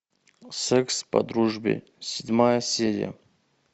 секс по дружбе седьмая серия